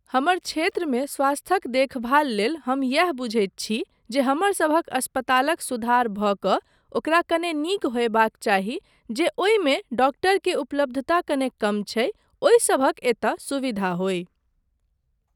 हमर क्षेत्रमे स्वास्थक देखभाल लेल हम यैह बुझैत छी जे हमरसभक अस्पतालक सुधार भऽ कऽ ओकरा कने नीक होयबाक चाही जे ओहिमे डॉक्टर के उपलब्धता कने कम छै ओहिसभक एतय सुविधा होय।